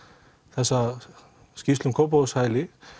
þessa skýrslu um Kópavogshæli